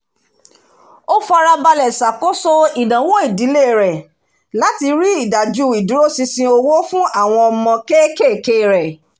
ó farabalẹ̀ ṣàkóso ìnáwó ìdílé rẹ̀ láti rí ìdaju ìdúró ṣinṣin owó fún àwọn ọmọ kéékèèké rẹ